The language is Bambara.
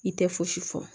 I tɛ fosi fɔ